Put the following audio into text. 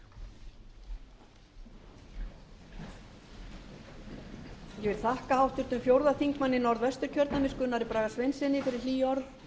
ég vil þakka háttvirtum fjórði þingmaður norðvesturkjördæmis gunnari braga sveinssyni fyrir hlý orð